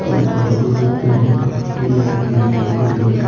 sigon sigon ful gaj degong oboladi mui ekkan bujibar.